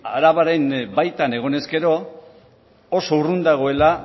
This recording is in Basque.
arabaren baitan egonez gero oso urrun dagoela